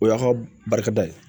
O y'a ka barika da ye